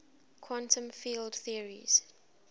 quantum field theories